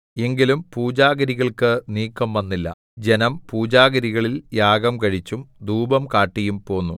എങ്കിലും പൂജാഗിരികൾക്ക് നീക്കംവന്നില്ല ജനം പൂജാഗിരികളിൽ യാഗം കഴിച്ചും ധൂപം കാട്ടിയും പോന്നു